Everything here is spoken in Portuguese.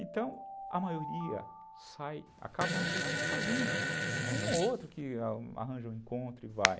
Então, a maioria sai, acaba a noite sozinha, é um ou outro que arranja um encontro e vai.